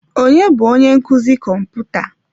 Ọnye bụ onye nkụzi kọmputa?